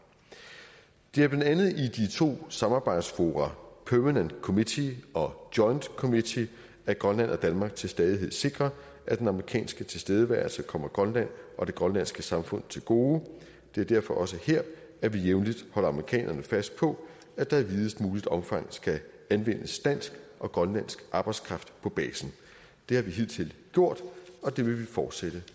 det er blandt andet i de to samarbejdsfora permanent committee og joint committee at grønland og danmark til stadighed sikrer at den amerikanske tilstedeværelse kommer grønland og det grønlandske samfund til gode det er derfor også her at vi jævnligt holder amerikanerne fast på at der i videst muligt omfang skal anvendes dansk og grønlandsk arbejdskraft på basen det har vi hidtil gjort og det vil vi fortsætte